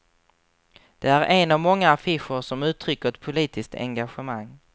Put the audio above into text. Den är en av många affischer som uttrycker ett politiskt engagemang.